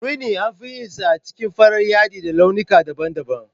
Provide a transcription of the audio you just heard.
Rini anfi yin sa a jikin farar yadi da launika daban daban